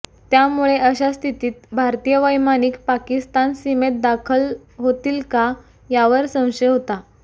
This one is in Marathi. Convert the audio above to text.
त्यामुळे अशा स्थितीत भारतीय वैमानिक पाकिस्तान सीमेत दाखल होतील का यावर संशय होता